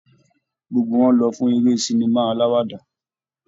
Gbogbo wọn lọ fún eré sinima aláwàdà.